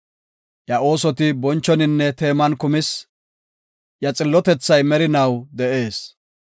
Iya oosoti bonchoninne teeman kumis; iya xillotethay merinaw de7ees.